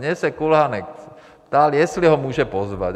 Mě se Kulhánek ptal, jestli ho může pozvat.